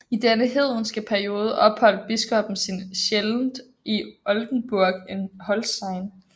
I denne hedenske periode opholdt biskoppen sin sjældent i Oldenburg in Holstein